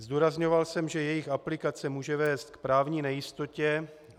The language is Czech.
Zdůrazňoval jsem, že jejich aplikace může vést k právní nejistotě.